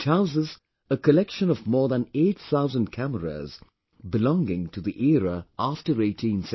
It houses a collection of more than 8 thousand cameras belonging to the era after 1860